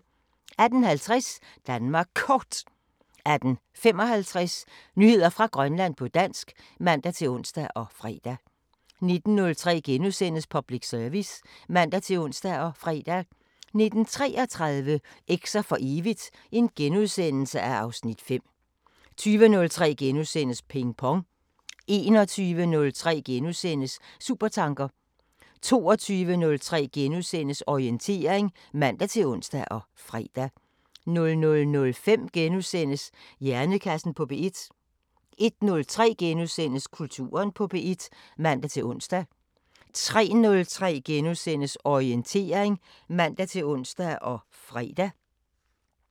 18:50: Danmark Kort 18:55: Nyheder fra Grønland på dansk (man-ons og fre) 19:03: Public Service *(man-ons og fre) 19:33: Eks'er for evigt (Afs. 5)* 20:03: Ping Pong * 21:03: Supertanker * 22:03: Orientering *(man-ons og fre) 00:05: Hjernekassen på P1 * 01:03: Kulturen på P1 *(man-ons) 03:03: Orientering *(man-ons og fre)